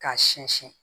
K'a sɛnsin